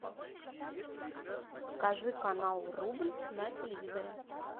покажи канал рубль на телевизоре